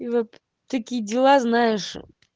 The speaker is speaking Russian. и вот такие дела знаешь